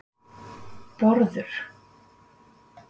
Bárður